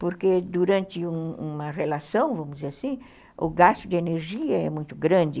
Porque durante uma uma elação, vamos dizer assim, o gasto de energia é muito grande.